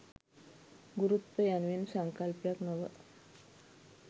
ගුරුත්වය යනුවෙන් සංකල්පයක් නොව